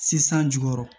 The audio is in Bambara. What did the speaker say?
Sisan jukɔrɔ